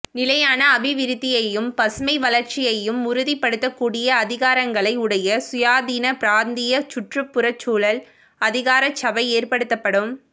நிலையான அபிவிருத்தியையும் பசுமை வளர்ச்சியையும் உறுதிப்படுத்தக்கூடிய அதிகாரங்களை உடைய சுயாதீன பிராந்திய சுற்றுப் புறச்சூழல் அதிகாரசபை ஏற்படுத்தப்படும்